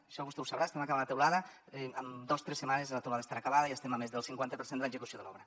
això vostè ho deu saber estem acabant la teulada amb dos o tres setmanes la teulada estarà acabada i estem a més del cinquanta per cent de l’execució de l’obra